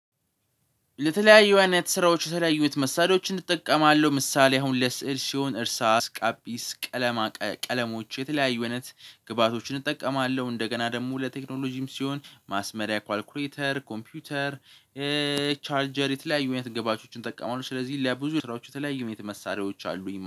ለተለያዩ አይነት ስራዎች የተለያዩት መሳሪያዎችን እጠቀማለሁ ምሳሌ አሁን ለስዕል ሲሆን እርሳ ላጲስ ቀለማ ቀለሞች የተለያዩ እውነት ግብአቶችን እጠቀማለሁ እንደገና ደግሞ ለቴክኖሎጂም ሲሆን ማስመሪያ ኳልኩሬተር ኮምፒውተር። ቻርጀር የተለያዩ አይነት ግብዓቶችን እጠቀማለው ስለዚህ ለብዙ ስራዎቹ የተለያዩ የት መሳሪያዎች አሉኝ ማለት ነው